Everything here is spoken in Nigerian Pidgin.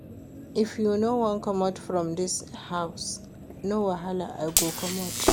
If you no wan comot from dis house no wahala, I go comot